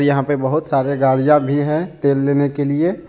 यहां पर बहुत सारे गाड़ियां भी है तेल लेने के लिए।